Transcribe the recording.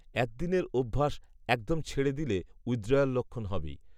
অ্যাদ্দিনের অভ্যাস, একদম ছেড়ে দিলে, উইথড্রয়াল লক্ষণ হবেই